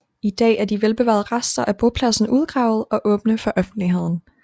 I dag er de velbevarede rester af bopladsen udgravet og åbne for offentligheden